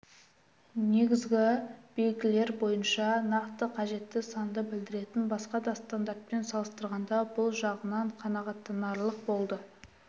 негізгі белгілер бойынша нақты қажетті санды білдіретін басқа да стандартпен салыстырғанда бұл жағынан қанағаттанарлық болды